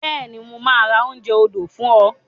Bẹ́ẹ̀ni, mo máa ra oúnjẹ odò fún ọ.